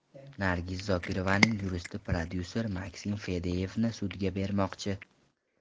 Nargiz Zokirovaning yuristi prodyuser Maksim Fadeyevni sudga bermoqchi.